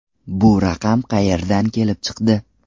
Bu raqam qayerdan kelib chiqdi?